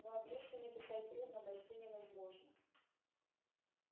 но о пришвине писать трудно почти невозможно